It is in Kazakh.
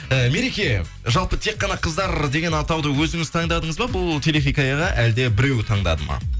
і мереке жалпы тек қана қыздар деген атауды өзіңіз таңдадыңыз ба бұл телехикаяға әлде біреу таңдады ма